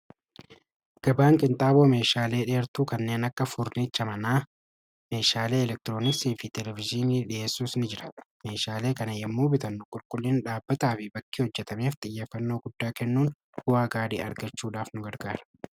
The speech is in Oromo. Gabaan qinxaaboo meeshaalee dheertuu kanneen akka furniicha manaa meeshaalee elektiroonisii fi televiziinii dhi'eessus ni jira meeshaalee kana yommuu bitannu qulqullin dhaabbataa fi bakkii hojjetameef xiyyafannoo guddaa kennuun bu'aa gaarii argachuudhaaf nu gargaara.